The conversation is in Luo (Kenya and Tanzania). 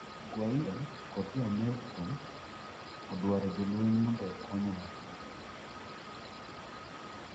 Guiada kod joamerica odawaro jolweny mondo owekonyo Maduro